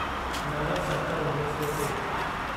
नव सत उणिवीह सौ टे